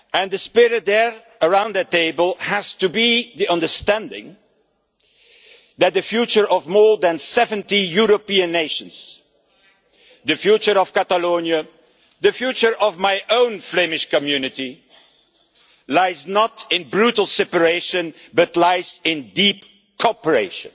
The spirit there, around that table, has to be the understanding that the future of more than 70 European nations, the future of Catalonia, the future of my own Flemish community, lies not in brutal separation but lies in deep cooperation